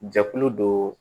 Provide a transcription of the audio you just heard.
Jɛkulu dɔ